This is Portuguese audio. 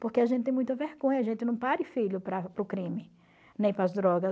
Porque a gente tem muita vergonha, a gente não pare filho para para o crime, nem para as drogas.